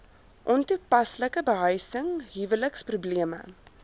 ontoepaslike behuising huweliksprobleme